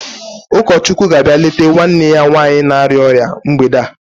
Ụkọchukwu ga-abịa leta nwanne ya nwanyị na-arịa ọrịa mgbede a.